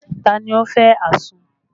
Ta ni ó fẹ́ àsun?